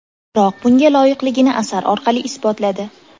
Biroq bunga loyiqligini asar orqali isbotladi.